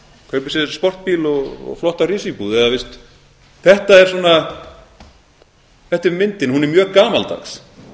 kaupir sér sportbíl og flotta risíbúð eða þetta er myndin hún er mjög gamaldags